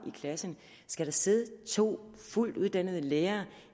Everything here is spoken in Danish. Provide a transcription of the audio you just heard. i klassen skal der sidde to fuldt uddannede lærere